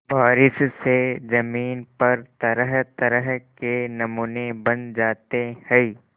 बारिश से ज़मीन पर तरहतरह के नमूने बन जाते हैं